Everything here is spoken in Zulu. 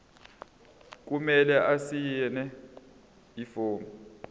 kumele asayine ifomu